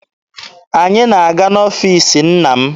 Anyị na-aga n'ọfiisi nna m.